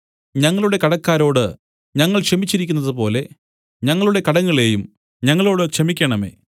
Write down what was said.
ഞങ്ങളുടെ കടക്കാരോട് ഞങ്ങൾ ക്ഷമിച്ചിരിക്കുന്നതുപോലെ ഞങ്ങളുടെ കടങ്ങളെയും ഞങ്ങളോടു ക്ഷമിക്കേണമേ